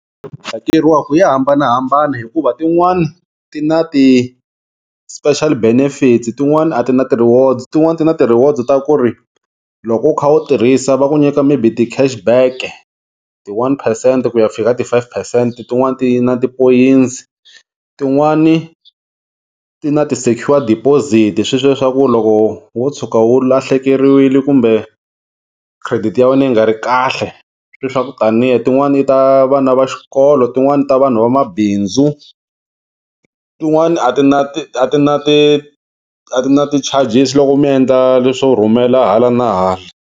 Hakeriwaka ya hambanahambana hikuva tin'wani ti na ti-special benefits tin'wani a ti na ti-rewards tin'wani ti na ti-rewards ta ku ri loko u kha u tirhisa va ku nyika maybe ti-chash back-e ti-one phesente ku ya fika ti-five phesente tin'wani ti na tipoyintsi, tin'wani ti na ti-secure deposit sweswiya swa ku loko wo tshuka wu lahlekeriwile kumbe credit ya wena yi nga ri kahle swe swa ku taniya tin'wani ta vana va xikolo tin'wani ta vanhu va mabindzu tin'wani a ti na ti a ti na ti a ti na ti-charges loko mi endla leswo rhumela hala na hala.